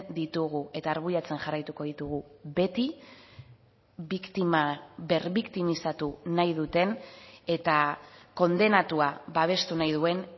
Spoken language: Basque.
ditugu eta arbuiatzen jarraituko ditugu beti biktima berbiktimizatu nahi duten eta kondenatua babestu nahi duen